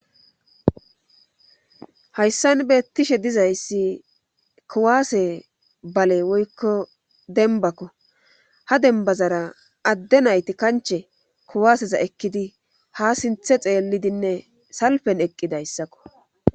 hayssan beettishe dizayssi kuwaase bale woykko denbakko ha denbazara adde nayti kanche kuwaaseza ekkidi ha sinthe xeellidinne salpen eqqidayssakko